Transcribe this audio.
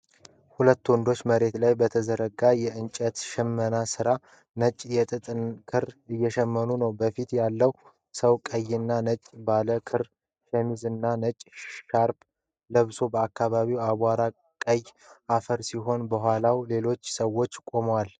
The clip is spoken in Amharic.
ሁለት ወንዶች መሬት ላይ በተዘረጋ የእጅ ሽመና ማሽን ነጭ የጥጥ ክር እየሸምኑ ነው። በፊት ያለው ሰው ቀይና ነጭ ባለ ካሬ ሸሚዝ እና ነጭ ሻርፕ ለብሷል። አካባቢው አቧራማ ቀይ አፈር ሲሆን፣ ከኋላ ሌሎች ሰዎች ቆመዋል።